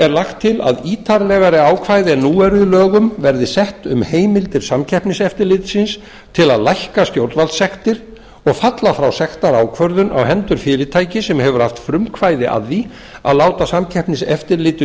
er til að ítarlegri ákvæði en nú eru í lögum verði sett um heimild til samkeppniseftirlitsins til að lækka stjórnvaldssektir og falla frá sektarákvörðun á hendur fyrirtæki sem hefur átt frumkvæði að því að láta samkeppniseftirlitinu